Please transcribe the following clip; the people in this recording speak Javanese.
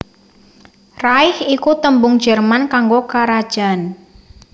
Reich iku tembung Jerman kanggo karajan